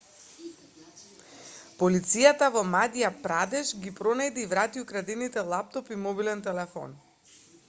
полицијата во мадја прадеш ги пронајде и врати украдените лаптоп и мобилен телефон